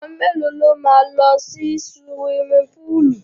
Àwọn mẹ́lòó ló máa lọ sí suwimi púùlù?